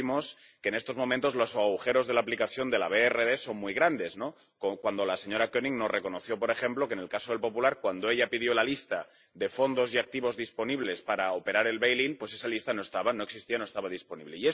Como vimos, en estos momentos los agujeros de la aplicación de la DRRB son muy grandes la señora Koenig nos reconoció, por ejemplo, que en el caso del Banco Popular, cuando ella pidió la lista de fondos y activos disponibles para operar el bail in, pues esa lista no estaba, no existía, no estaba disponible.